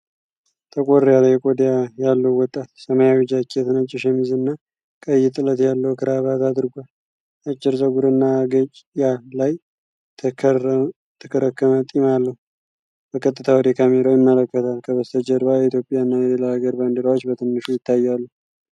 ጠቆር ያለ ቆዳ ያለው ወጣት፣ ሰማያዊ ጃኬት፣ ነጭ ሸሚዝና ቀይ ጥለት ያለው ክራባት አድርጎአል። አጭር ፀጉርና አገጭ ላይ የተከረከመ ጢም አለው፤ በቀጥታ ወደ ካሜራው ይመለከታል። ከበስተጀርባ የኢትዮጵያና የሌላ ሀገር ባንዲራዎች በትንሹ ይታያሉ።